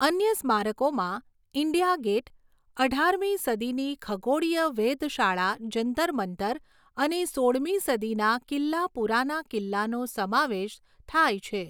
અન્ય સ્મારકોમાં India Gate, અઢારમી સદીની ખગોળીય વેધશાળા જંતર મંતર અને સોળમી સદીના કિલ્લા પુરાના કિલ્લાનો સમાવેશ થાય છે.